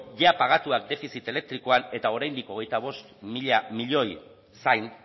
jada pagatuak defizit elektrikoan eta oraindik hogeita bost mila milioi zain